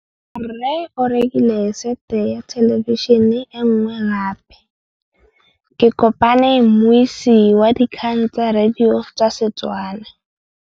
Rre o rekile sete ya thêlêbišênê e nngwe gape. Ke kopane mmuisi w dikgang tsa radio tsa Setswana.